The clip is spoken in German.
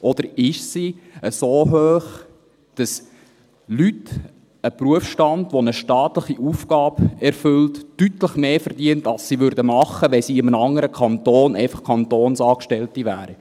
– Oder ist sie so hoch, dass Leute – ein Berufsstand, der eine staatliche Aufgabe erfüllt –, deutlich mehr verdienen als sie verdienten, wenn sie in einem anderen Kanton einfach Kantonsangestellte wären?